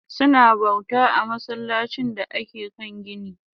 Suna bauta a masallacin da ake kan gini